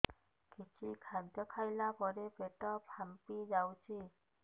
କିଛି ଖାଦ୍ୟ ଖାଇଲା ପରେ ପେଟ ଫାମ୍ପି ଯାଉଛି